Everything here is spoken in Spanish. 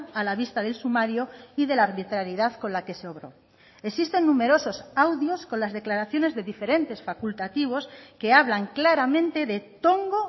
a la vista del sumario y de la arbitrariedad con la que se obró existen numerosos audios con las declaraciones de diferentes facultativos que hablan claramente de tongo